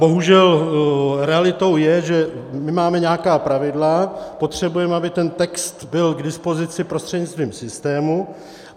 Bohužel realitou je, že my máme nějaká pravidla, potřebujeme, aby ten text byl k dispozici prostřednictvím systému.